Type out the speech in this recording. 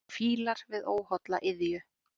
Fílar við óholla iðju.